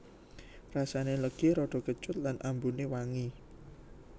Rasane legi rada kecut lan ambune wangi